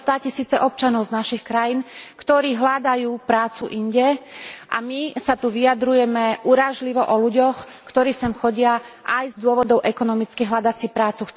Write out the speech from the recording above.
Sú to státisíce občanov z našich krajín, ktorí hľadajú prácu inde, a my sa tu vyjadrujeme urážlivo o ľuďoch, ktorí sem chodia aj z dôvodov ekonomických hľadať si prácu.